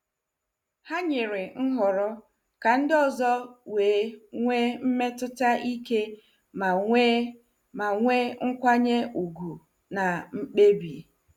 Ha nyere nhọrọ ka ndị ọzọ wee nwee mmetụta ike ma nwee ma nwee nkwanye ùgwù na mkpebi.